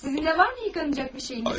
Sizin də var mı yuyulacaq bir şeyiniz?